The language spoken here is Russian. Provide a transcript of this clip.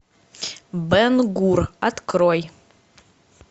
бен гур открой